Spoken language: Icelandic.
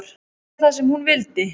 Segja það sem hún vildi.